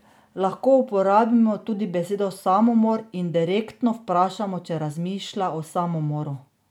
Lahko uporabimo tudi besedo samomor in direktno vprašamo, če razmišlja o samomoru.